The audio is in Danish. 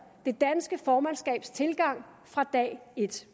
det danske formandskabs tilgang fra dag et